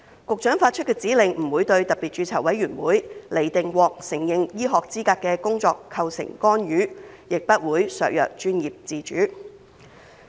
局長發出的指令不會對特別註冊委員會釐定獲承認醫學資格的工作構成干預，亦不會削弱專業自主。